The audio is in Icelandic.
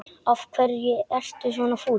Af hverju ertu svona fúll?